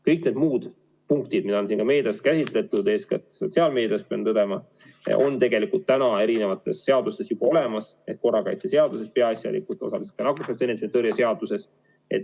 Kõik need muud punktid, mida on ka meedias käsitletud, eeskätt sotsiaalmeedias – pean tõdema, et need on tegelikult erinevates seadustes juba olemas, korrakaitseseaduses peaasjalikult, aga osaliselt ka nakkushaiguste ennetamise ja tõrje seaduses.